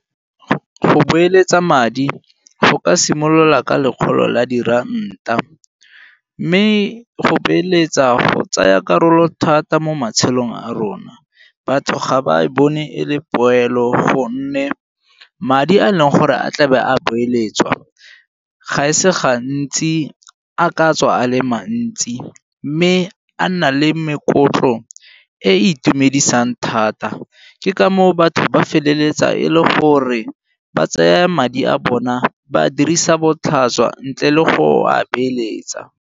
Go beeletsa madi go ka simolola ka lekgolo la diranta, mme go beeletsa go tsaya karolo thata mo matshelong a rona. Batho ga ba e bone e le poelo gonne madi a e leng gore a tlabe a beeletswa gase gantsi a katswa a le mantsi mme a nna le e e itumedisang thata. Ke ka moo batho ba feleletsa e le gore ba tsaya madi a bona ba dirisa botlhaswa ntle le go a beeletsa.